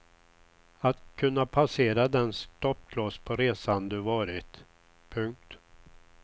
Att kunna passera den stoppkloss på resan du varit. punkt